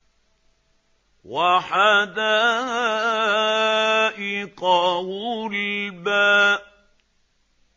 وَحَدَائِقَ غُلْبًا